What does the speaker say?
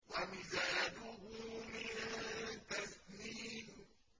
وَمِزَاجُهُ مِن تَسْنِيمٍ